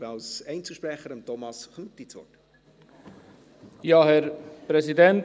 Ich gebe als Einzelsprecher Thomas Knutti das Wort.